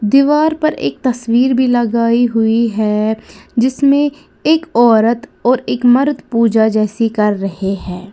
दीवार पर एक तस्वीर भी लगाई हुई है जिसमें एक औरत और एक मर्द पूजा जैसी कर रहे हैं।